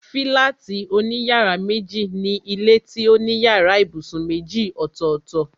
Fílátì òní yàrá méjì ni ilé tó ní yàrá ibùsùn méjì ọ̀tọ̀ọ̀tọ̀